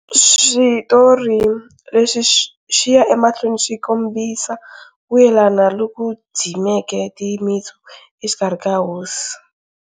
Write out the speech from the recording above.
Switori leswi swi ya emahlweni swi kombisa ku yelana loku dzimeke timitsu exikarhi ka hosi